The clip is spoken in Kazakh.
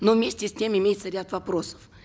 но вместе с тем имеется ряд вопросов